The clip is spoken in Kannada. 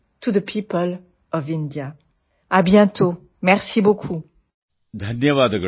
ಧನ್ಯವಾದ ಮಾನ್ಯರೇ